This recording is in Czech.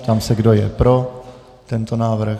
Ptám se, kdo je pro tento návrh.